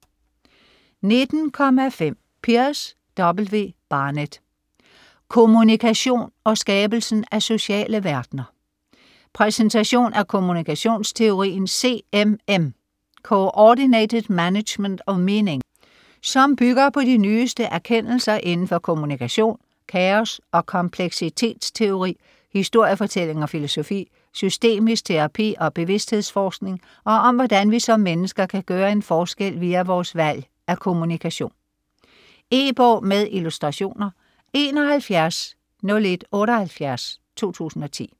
19.5 Pearce, W. Barnett: Kommunikation og skabelsen af sociale verdener Præsentation af kommunikationsteorien CMM (Coordinated Management of Meaning), som bygger på de nyeste erkendelser inden for kommunikation, kaos- og kompleksitetsteori, historiefortælling og filosofi, systemisk terapi og bevidsthedsforskning, og om hvordan vi som mennesker kan gøre en forskel via vores valg af kommunikation. E-bog med illustrationer 710178 2010.